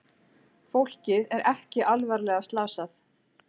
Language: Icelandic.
Fólkið er ekki alvarlega slasað